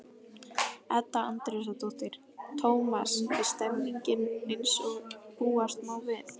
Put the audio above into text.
Edda Andrésdóttir: Tómas, er stemningin eins og búast má við?